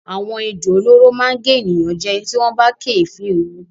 Àwọn ejò olóró máa gé ènìyàn jẹ tí wọ́n bá kéèéfín ewu.